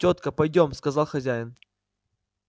тётка пойдём сказал хозяин